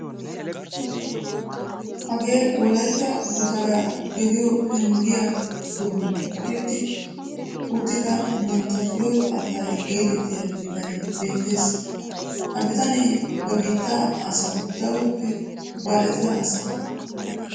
Hagee wolaytta gutaraa geliyoo penggiyaa doonan kaqetti uttida mantta firew altaye getettiyaa bitanee beettees. ha bitanee ba biittaa asawu daroppe baaxettida asa.